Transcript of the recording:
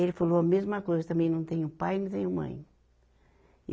Ele falou a mesma coisa também, não tenho pai e não tenho mãe.